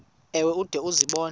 ewe ude uzibone